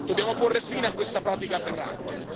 Dobbiamo porre fine a questa pratica aberrante.